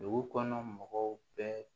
Dugu kɔnɔ mɔgɔw bɛɛ